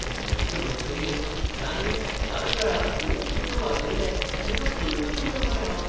चेन्नयचे मैफलींत यान्नीन एकाच वेळार दोन कीबोर्ड वाजयले तेन्ना पळयतच उल्लें मरे हांव!